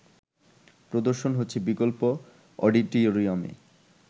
প্রদর্শন হচ্ছে বিকল্প অডিটরিয়ামে